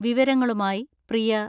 വിവരങ്ങളുമായി പ്രിയ...